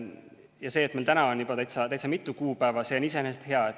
Ja see, et meil nüüd on juba täitsa mitu kuupäeva, on iseenesest hea.